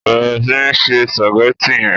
bẹrẹ sí ńse spaghetti yén.